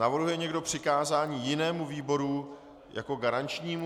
Navrhuje někdo přikázání jinému výboru jako garančnímu?